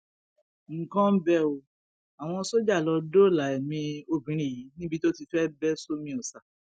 nǹkan ń bẹ ọ àwọn sójà lọ dóòlà èmi obìnrin yìí níbi tó ti fẹẹ bẹ sómi ọsà